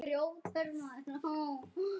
Sú er frökk!